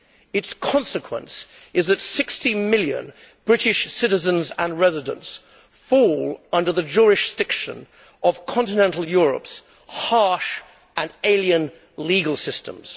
Its consequence is that 60 million British citizens and residents fall under the jurisdiction of continental Europe's harsh and alien legal systems.